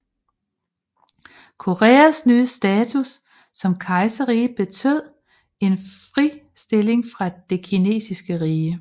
Koreas nye status som kejserrige betød en fristilling fra det kinesiske rige